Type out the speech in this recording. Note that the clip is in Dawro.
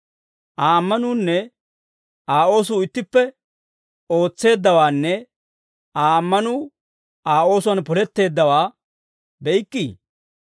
Aa ammanuunne Aa oosuu ittippe ootseeddawaanne Aa ammanuu Aa oosuwaan poletteeddawaa be'ikkii?